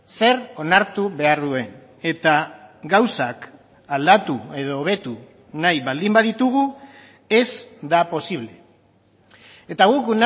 zer onartu behar duen eta gauzak aldatu edo hobetu nahi baldin baditugu ez da posible eta guk